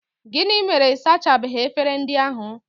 Gịnị mere ị sachabeghị efere ndị ahụ?